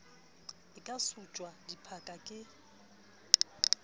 e ka suptjwa dipha ke